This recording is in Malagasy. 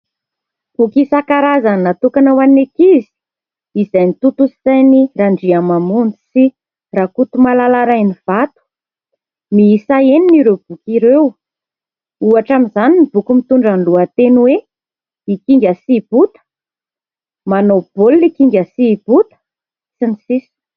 Boky isan-karazany natokana ho an'ny ankizy izay notontosain'i Randriamamonjy sy Rakotomalala Rainivato. Miisa enina ireo boky ireo. Ohatra amin'izany ny boky mitondra ny lohateny hoe : "I Kinga sy i Bota", "Manao baolina i Kinga sy i Bota" sy ny sisa...